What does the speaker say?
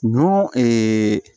Ɲɔ